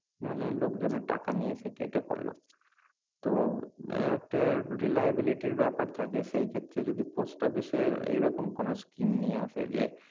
মানে লোক জনের টাকা নিয়ে সে কেটে পড়লো তো আহ একটা reliability ব্যাপার থাকে সেই ক্ষেত্রে যদি post office এ এই রকম কোনো scheme নিয়ে আসে যে